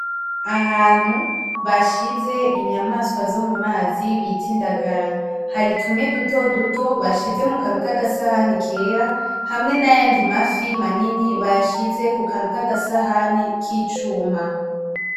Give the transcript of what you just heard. Ahantu bashize inyamaswa zomumazi bita indagara hari tumwe dutoduto bashize mukantu kugasahani kera hamwe nayandi mafi manini bashize kukantu kugasahani kicuma .